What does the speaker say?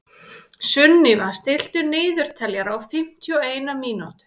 Sunníva, stilltu niðurteljara á fimmtíu og eina mínútur.